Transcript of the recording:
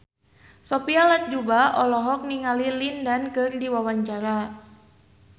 Sophia Latjuba olohok ningali Lin Dan keur diwawancara